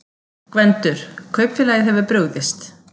GVENDUR: Kaupfélagið hefur brugðist.